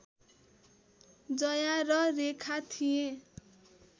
जया र रेखा थिए